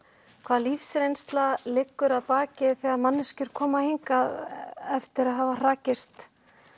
hvaða lífsreynsla liggur að baki þegar manneskjur koma hingað eftir að hafa hrakist